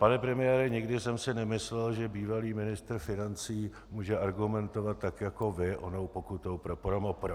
Pane premiére, nikdy jsem si nemyslel, že bývalý ministr financí může argumentovat tak jako vy onou pokutou pro ProMoPro.